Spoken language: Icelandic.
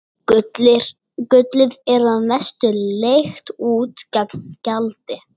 Gullið er að mestu leigt út gegn gjaldi.